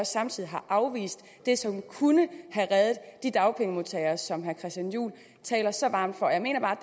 samtidig har afvist det som kunne have reddet de dagpengemodtagere som herre christian juhl taler så varmt for jeg mener bare